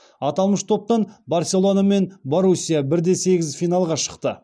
аталмыш топтан барселона мен боруссия бір де сегіз финалға шықты